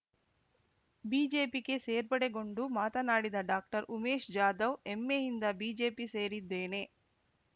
ಬಿಜೆಪಿಗೆ ಸೇರ್ಪಡೆಗೊಂಡು ಮಾತನಾಡಿದ ಡಾಕ್ಟರ್ ಉಮೇಶ್ ಜಾಧವ್ ಹೆಮ್ಮೆಯಿಂದ ಬಿಜೆಪಿ ಸೇರಿದ್ದೇನೆ